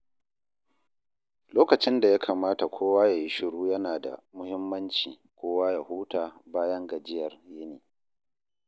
Lokacin da ya kamata kowa ya yi shiru yana da muhimmanci kowa ya huta bayan gajiyar yini.